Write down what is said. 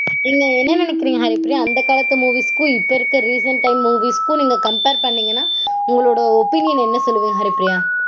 நீங்க என்ன நெனைக்கறீங்க ஹரிப்பிரியா? அந்த காலத்து movies -க்கும் இப்போ இருக்க recent time movies -க்கும் copmpare பண்ணீங்கனா உங்களோடைய opinion என்ன சொல்வீங்க ஹரிப்பிரியா?